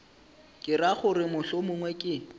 ke ra gore mohlomongwe ke